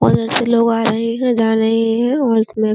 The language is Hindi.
और ऐसे लोग आ रहे जा रहे है और इसमें --